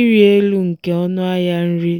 ịrị elu nke ọnụahịa nri